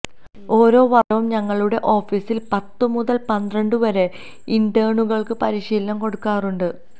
ഓരോ വർഷവും ഞങ്ങളുടെ ഓഫീസിൽ പത്തു മുതൽ പന്ത്രണ്ടു വരെ ഇന്റേണുകൾക്ക് പരിശീലനം കൊടുക്കാറുണ്ട്